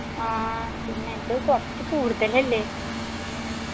ആ പിന്നെ ഇത് കൊറച്ച് കൂടുതലല്ലേ